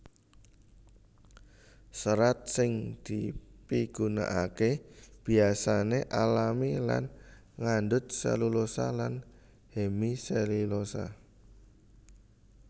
Serat sing dipigunakaké biasané alami lan ngandhut selulosa lan hemiselulosa